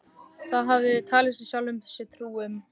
Það hafði hann talið sjálfum sér trú um.